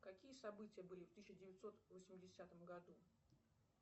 какие события были в тысяча девятьсот восьмидесятом году